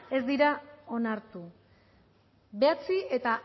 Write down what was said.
ez dira onartu bederatzi eta